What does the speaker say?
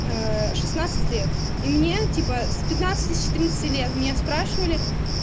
шестнадцать лет и мне типа с пятнадцати с четырнадцати лет меня спрашивали